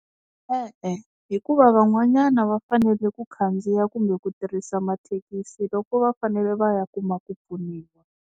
E-e, hikuva van'wanyana va fanele ku khandziya kumbe ku tirhisa mathekisi loko va fanele va ya kuma ku pfuniwa.